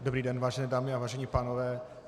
Dobrý den, vážené dámy a vážení pánové.